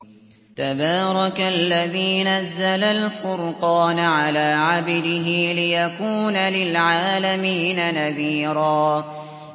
تَبَارَكَ الَّذِي نَزَّلَ الْفُرْقَانَ عَلَىٰ عَبْدِهِ لِيَكُونَ لِلْعَالَمِينَ نَذِيرًا